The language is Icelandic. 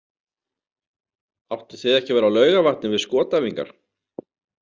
Áttuð þið ekki að vera á Laugarvatni við skotæfingar?